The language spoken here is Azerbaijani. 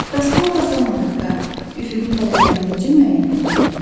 Bəs kompas olmadıqda üfüqün tərəflərini necə müəyyən etmək olar?